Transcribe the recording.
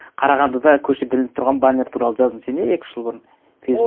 қарағандыда көшеде ілініп тұрған баннер туралы жаздың сен иә екі үш жыл бұрын фейсбукта